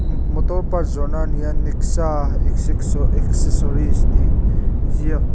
imm motor part zawhna a ni a nexa accessories tih ziak--